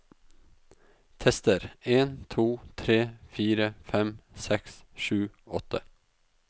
Tester en to tre fire fem seks sju åtte